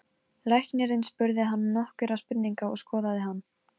Þá bauð Erlendur okkur öllum heim til sín.